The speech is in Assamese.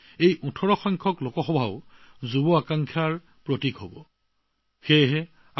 অৰ্থাৎ এই ১৮সংখ্যক লোকসভা নিৰ্বাচনে যুৱ আকাংক্ষাৰ প্ৰতীক বহন কৰিছে